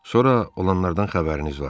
Sonra olanlardan xəbəriniz var.